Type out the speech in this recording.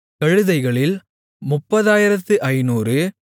கழுதைகளில் 30500